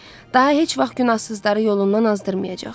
Daha heç vaxt günahsızları yolundan azdırmayacaq.